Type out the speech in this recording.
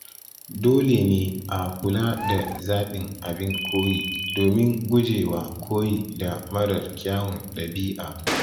Dole ne a kula da zaɓin abin koyi domin guje wa koyi da marar kyawun ɗabi'a.